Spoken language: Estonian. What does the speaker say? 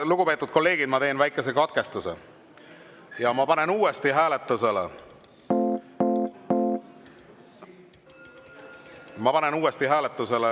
Lugupeetud kolleegid, ma teen väikese katkestuse ja panen uuesti hääletusele.